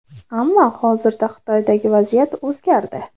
Ammo hozirda Xitoydagi vaziyat o‘zgardi.